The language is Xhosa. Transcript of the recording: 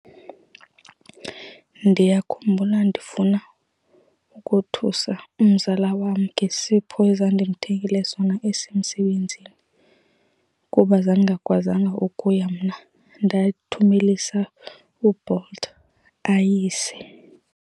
Ndiyakhumbula ndifuna ukothusa umzala wam ngesipho ezandimthengele sona esemsebenzini kuba zandingakwazanga ukuya mna, ndathumelisa uBolt ayise.